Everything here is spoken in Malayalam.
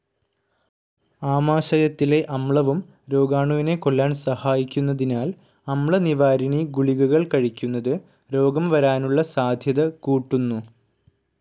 ആമാശയത്തിലെ അമ്ലവും രോഗാണുവിനെ കൊല്ലാൻ സഹായിക്കുന്നതിനാൽ അമ്ലനിവാരിണി ഗുളികകൾ കഴിക്കുന്നത് രോഗം വരാനുള്ള സാധ്യത കൂട്ടുന്നു.